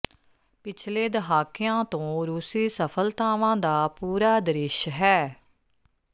ਪਿਛਲੇ ਦਹਾਕਿਆਂ ਤੋਂ ਰੂਸੀ ਸਫਲਤਾਵਾਂ ਦਾ ਪੂਰਾ ਦ੍ਰਿਸ਼ ਹੈ